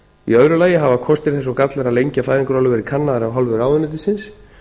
í öðru lagi hafa kostir þess og gallar að lengja fæðingarorlofið verið kannaðir af hálfu ráðuneytisins